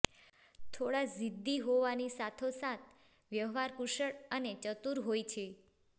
થોડા જિદ્દી હોવાની સાથોસાથ વ્યવહારકુશળ અને ચતુર હોય છે